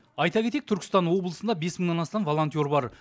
айта кетейік түркістан облысында бес мыңнан астам волонтер бар